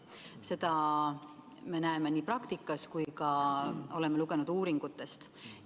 Seda me näeme nii praktikas kui ka oleme lugenud uuringutest.